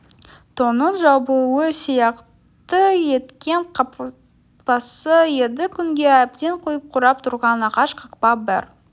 тонның жабуы сияқты еткен қақпасы еді күнге әбден күйіп қурап тұрған ағаш қақпа бір